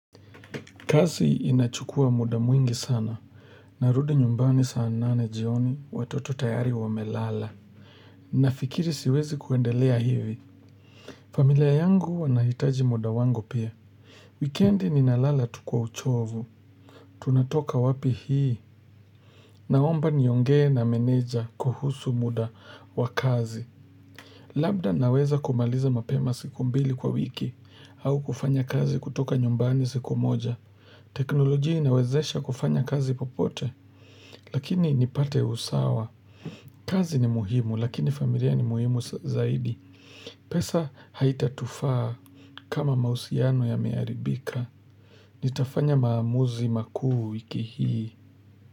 Kazi inachukua mda mwingi sana, narudi nyumbani saa nane jioni watoto tayari wamelala. Nafikiri siwezi kuendelea hivi. Familia yangu wanahitaji mda wangu pia. Wikendi ninalala tu kwa uchovu. Tunatoka wapi hii. Naomba niongee na meneja kuhusu mda wa kazi. Labda naweza kumaliza mapema siku mbili kwa wiki, au kufanya kazi kutoka nyumbani siku moja. Teknolojia inawezesha kufanya kazi popote Lakini nipate usawa kazi ni muhimu, lakini familia ni muhimu sa zaidi pesa haitatufaa kama mahusiano yameharibika Nitafanya maamuzi makuu wiki hii.